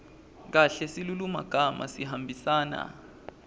kahle silulumagama sihambisana